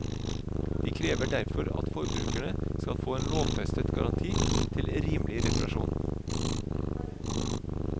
De krever derfor at forbrukerne skal få en lovfestet garanti til rimelig reparasjon.